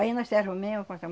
Aí nós se arrumemos com essa